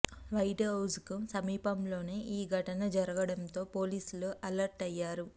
white House కు సమీపంలోనే ఈ ఘటన జరగడంతో పోలీసులు అలర్ట్ అయ్యారు